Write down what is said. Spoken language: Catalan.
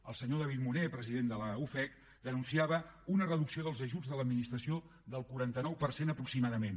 el senyor david munné president de la ufec denunciava una reducció dels ajuts de l’administració del quaranta nou per cent aproximadament